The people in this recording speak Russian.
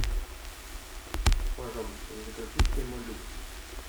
пожалуйста закажи пемолюкс